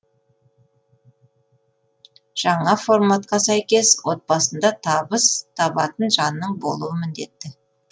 жаңа форматқа сәйкес отбасында табыс табатын жанның болуы міндетті